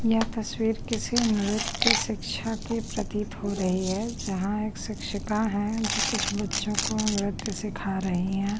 यह तस्वीर किसी नृत्य शिक्षा की प्रतीत हो रही है जहाँ एक शिक्षिका हैं जो कुछ बच्चों को नृत्य सिखा रही है।